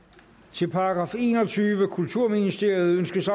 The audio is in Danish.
til § enogtyvende kulturministeriet ønskes